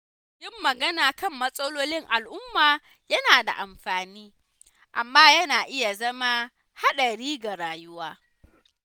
Yin magana kan matsalolin al’umma yana da amfani, amma yana iya zama haɗari ga rayuwa.